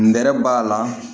Nɛrɛ b'a la